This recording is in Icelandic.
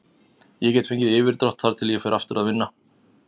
Ég get fengið yfirdrátt þar til ég fer aftur að vinna.